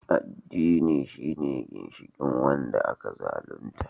Addini shine ginshikin wanda aka zalunta